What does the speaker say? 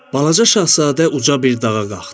Balaca Şahzadə uca bir dağa qalxdı.